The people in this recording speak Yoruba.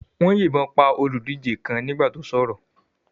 Wọ́n yìnbọn pa olùdíje kan nígbà tó sọ̀rọ̀.